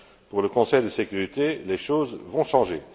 Pour le Conseil de sécurité, les choses vont changer.